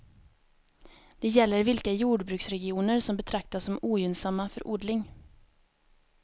Det gäller vilka jordbruksregioner som betraktas som ogynnsamma för odling.